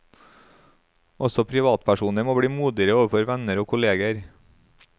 Også privatpersoner må bli modigere overfor venner og kolleger.